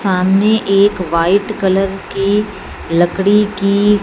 सामने एक white colour की लकड़ी की--